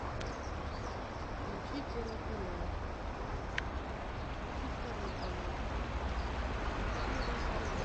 включи первый канал включи второй канал включи рен тв